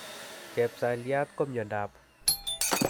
Chepsalyiat ko miondop